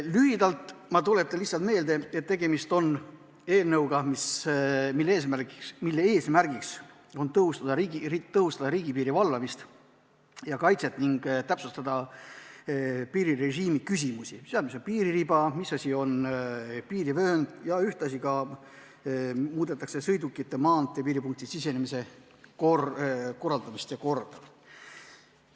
Lühidalt, tuletan lihtsalt meelde, et tegemist on eelnõuga, mille eesmärk on tõhustada riigipiiri valvamist ja kaitset ning täpsustada piirirežiimi küsimusi – mis on piiririba, mis asi on piirivöönd jms –, ühtlasi muudetakse sõidukite maanteepiiripunktidesse sisenemise korraldamist ja korda.